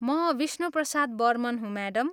म विष्णुप्रसाद बर्मन हुँ, म्याडम।